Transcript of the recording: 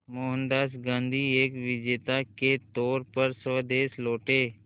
मोहनदास गांधी एक विजेता के तौर पर स्वदेश लौटे